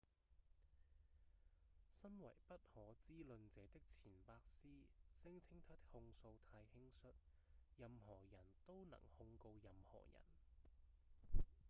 身為不可知論者的錢伯斯聲稱他的控訴太「輕率」「任何人都能控告任何人」